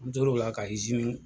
N tor'o la ka